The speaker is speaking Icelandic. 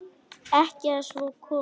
Ekki að svo komnu.